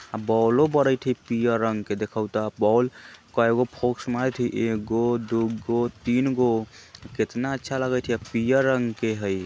अ bulb बरइत हई पियर रंग के देखउ बल्ब कईगो मारत हई एगो दुगो तीनगो कितना अच्छा लगईत हई पियर रंग के हई।